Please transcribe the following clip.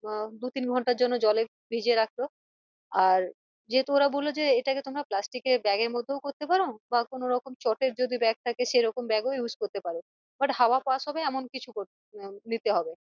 আহ দু তিন ঘন্টার জন্য জলে ভিজিয়ে রাখলো আর যেহেতু ওরা বললো যে এটাকে তোমরা plastic এ bag এর মধ্যেও করতে পারো বা কোনরকম চটের যদি bag থাকে সেরকম bag ও use করতে পারো but হাওয়া pass হবে এমন কিছু করতে আহ দিতে হবে